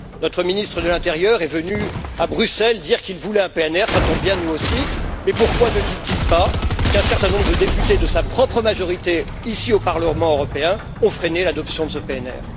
le PNR. Notre ministre de l'intérieur est venu à Bruxelles dire qu'il voulait un PNR. Cela tombe bien, nous aussi. Mais pourquoi ne dit il pas qu'un certain nombre de députés de sa propre majorité, ici, au Parlement européen, ont freiné l'adoption